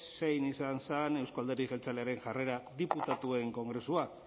zein izan zen euzko alderdi jeltzalearen jarrera diputatuen kongresuan